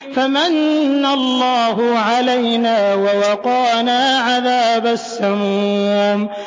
فَمَنَّ اللَّهُ عَلَيْنَا وَوَقَانَا عَذَابَ السَّمُومِ